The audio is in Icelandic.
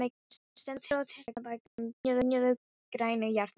Hún stendur á Tjarnarbakkanum, brynjuð grænu járni.